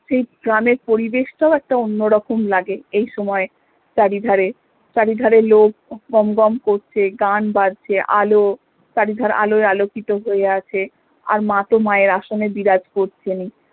সেই গ্রামের পরিবেশটাও একটা অন্যরকম লাগে এই সময়ে চারিধারে চারিধারে লোক গম গম করছে গান বাজছে আলো চারিধারে আলোয় আলোকিত হয়ে আছে আর মা তো মা এর আসনে বিরাজ করছেনই